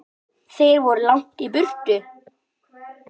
Þeir eru langt í burtu.